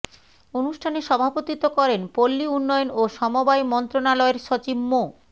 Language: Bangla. অনুষ্ঠানে সভাপতিত্ব করেন পল্লী উন্নয়ন ও সমবায় মন্ত্রণালয়ের সচিব মো